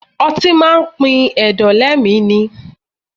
Ọtí máa pin ẹ̀dọ̀ lé mi ni.